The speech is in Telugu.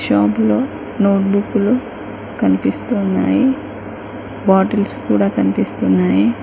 షాపులో నోటుబుక్కులు కనిపిస్తున్నాయి. బాటిల్స్ కూడా కనిపిస్తున్నాయి.